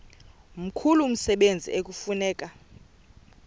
mkhulu umsebenzi ekufuneka